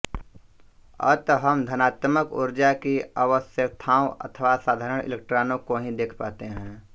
अत हम धनात्मक ऊर्जा की अवस्थाओं अर्थात् साधारण इलेक्ट्रॉनों को ही देख पाते हैं